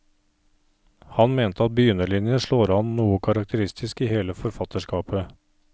Han mente at begynnerlinjen slår an noe karakteristisk i hele forfatterskapet.